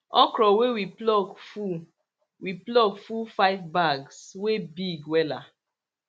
okro wey we pluck full we pluck full five bags wey big wela